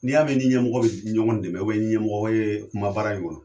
Ni y'a mɛ i ni ɲɛmɔgɔ be ɲɔgɔn dɛmɛ i ni ɲɛmɔgɔ ye kuma baara in kɔnɔ